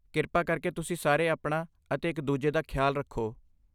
ਕਿਰਪਾ ਕਰਕੇ ਤੁਸੀਂ ਸਾਰੇ ਆਪਣਾ ਅਤੇ ਇੱਕ ਦੂਜੇ ਦਾ ਖਿਆਲ ਰੱਖੋ।